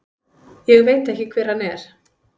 Ég veit ekki hver hann er.